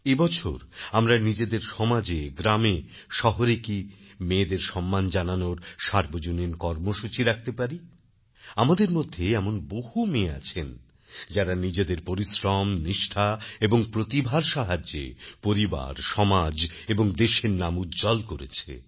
এবছর আমরা নিজেদের সমাজে গ্রামে শহরে কি মেয়েদের সম্মান জানানোর সার্বজনীন কর্মসূচি রাখতে পারি আমাদের মধ্যে এমন বহু মেয়ে আছে যারা নিজেদের পরিশ্রম নিষ্ঠা এবং প্রতিভার সাহায্যে পরিবার সমাজ এবং দেশের নাম উজ্জ্বল করেছে